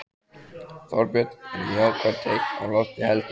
Þorbjörn: Eru jákvæð teikn á lofti heldurðu?